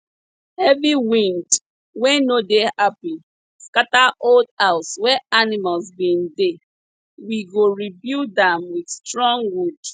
heavy wind wey no dey happy scatter old house wey animals bin dey we go rebuild am with strong wood